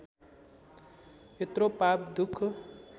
यत्रो पाप दुख